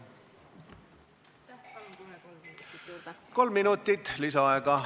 Kolm minutit lisaaega.